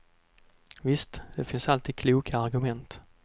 Visst, det finns alltid kloka argument.